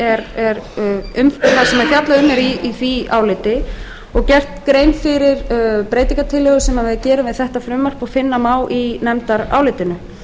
er fjallað í því áliti og gert grein fyrir breytingartillögum sem við gerum við þetta frumvarp og finna má í nefndarálitinu